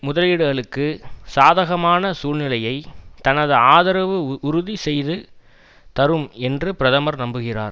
முதலீடுகளுக்கு சாதகமான சூழ்நிலையை தனது ஆதரவு உறுதி செய்து தரும் என்று பிரதமர் நம்புகிறார்